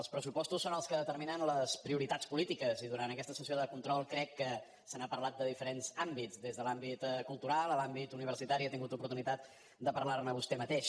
els pressupostos són els que determinen les prioritats polítiques i durant aquesta sessió de control crec que se n’ha parlat de diferents àmbits des de l’àmbit cultural a l’àmbit universitari ha tingut oportunitat de parlar ne vostè mateix